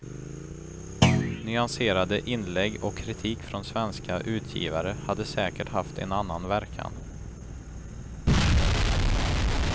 Nyanserade inlägg och kritik från svenska utgivare hade säkert haft en annan verkan.